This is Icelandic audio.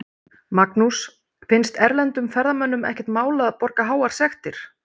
Magnús: Finnst erlendum ferðamönnum ekkert mál að borga háar sektir?